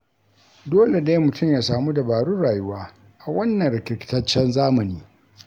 Dole dai mutum ya samu dabarun rayuwa a wannan rikirkitaccen zamani.